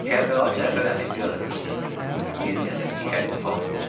Kərbəlayı Cəfər əmi biraz gülümsündü və bir qədər dikəlib sual etdi.